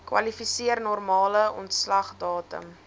kwalifiseer normale ontslagdatum